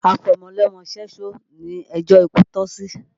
Afọmọlọ́mọ ṣẹ́ṣó ni ẹjó ikú tọ́ sí